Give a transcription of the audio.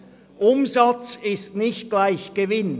Zweitens: Umsatz ist nicht gleich Gewinn.